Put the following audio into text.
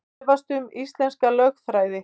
Efast um íslenska lögfræði